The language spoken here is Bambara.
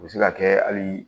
U bɛ se ka kɛ hali